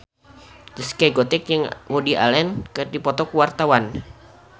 Zaskia Gotik jeung Woody Allen keur dipoto ku wartawan